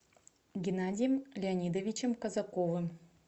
геннадием леонидовичем казаковым